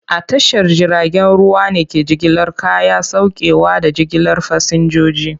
A tashar jiragen ruwa ne ke jigilar kaya, saukewa, da jigilar fasinjoji.